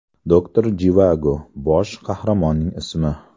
Doktor Jivago – bosh qahramonning ismi.